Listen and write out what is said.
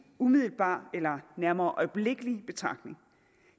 umiddelbar eller nærmere øjeblikkelig betragtning